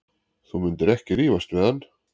Þú myndir ekki rífast við hann.